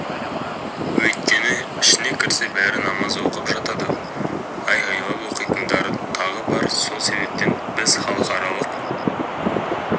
өйткені ішіне кірсе бәрі намаз оқып жатады айғайлап оқитындары тағы бар сол себептен біз халықаралық